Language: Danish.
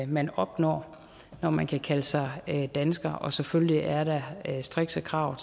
man opnår når man kan kalde sig dansker og selvfølgelig er der strikse krav